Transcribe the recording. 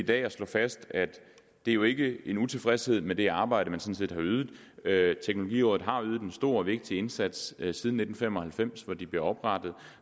dag at slå fast at det jo ikke er en utilfredshed med det arbejde man har ydet ydet teknologirådet har ydet en stor og vigtig indsats siden nitten fem og halvfems hvor det blev oprettet